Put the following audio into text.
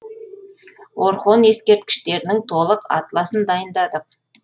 орхон ескерткіштерінің толық атласын дайындадық